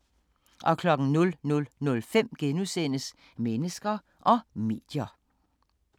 00:05: Mennesker og medier *